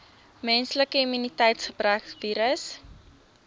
menslike immuniteitsgebrekvirus